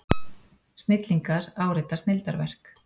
Snillingar árita snilldarverk